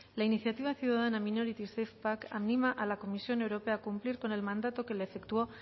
la iniciativa ciudadana minority safepack anima a la comisión europea a cumplir con el mandato que le efectuó